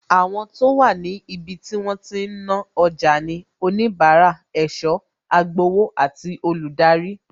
Àwọn tó wà ní ibi tí wọ́n ti ń ná ọjà ni onibara, ẹ̀sọ́, agbowó àti olùdarí